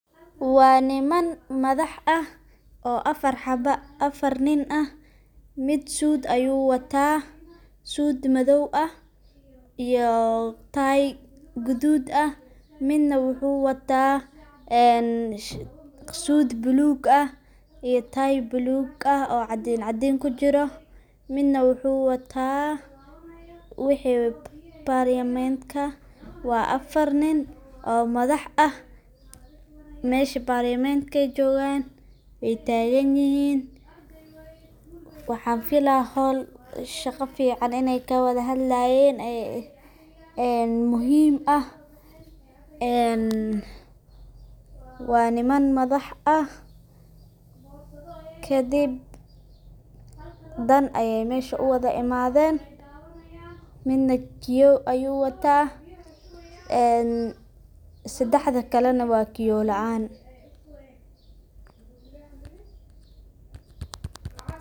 Waa niman madax sare ah oo afar nin ah ,mid suud ayu wataa, suud madow ah iyo tie gadud ah ,midna wuxu wataa suud bulug ah iyo tie gadud ah cadincadin kujiro ,midna wuxu wata wixi parliamentka waa afar nin oo madax ah mesha parliamentka ay jogan wey tagan yihin waxan filaa shaqo fican iney kawada hadlayen oo muhim ah waa niman madax ah ,kadib dan ayey mesha u wada imaden midna kioo uu wata sedexda kalena waa kioo laan.